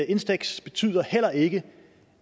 instex betyder heller ikke